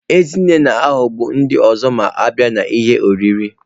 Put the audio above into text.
Ezinne na-aghọgbu ndị ọzọ ma a bịa n'ihe oriri.